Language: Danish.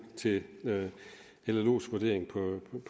til llos vurdering